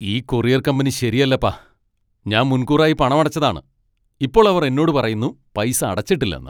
ഈ courier company ശരിയല്ലപ്പാ. ഞാൻ മുൻകൂറായി പണമടച്ചതാണ്. ഇപ്പോൾ അവർ എന്നോട് പറയുന്നു പൈസ അടച്ചിട്ടില്ലെന്ന് !